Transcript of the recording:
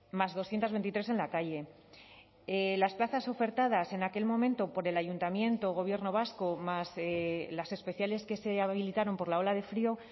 más doscientos veintitrés en la calle las plazas ofertadas en aquel momento por el ayuntamiento gobierno vasco más las especiales que se habilitaron por la ola de frío